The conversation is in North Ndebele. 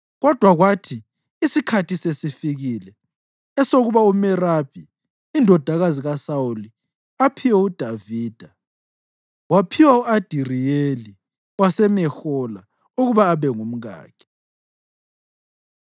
Kodwa kwathi isikhathi sesifikile esokuba uMerabi, indodakazi kaSawuli, aphiwe uDavida, waphiwa u-Adiriyeli waseMehola ukuba abe ngumkakhe.